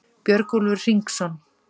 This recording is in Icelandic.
Björgúlfur Hringsson,